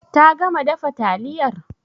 Ta gama dafa taliyar?